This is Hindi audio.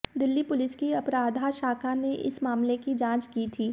दिल्ली पुलिस की अपराधा शाखा ने इस मामले की जाँच की थी